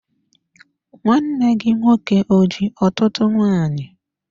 Nwanne gị nwoke o ji ọtụtụ nwanyị?